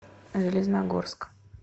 железногорск